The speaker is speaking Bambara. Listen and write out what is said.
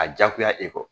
A diyagoya e kɔ